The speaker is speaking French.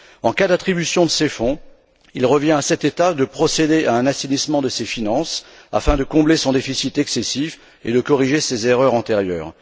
En cas d'attribution de ces fonds, il revient à cet État de procéder à un assainissement de ses finances afin de combler son déficit excessif et de corriger ses erreurs antérieures.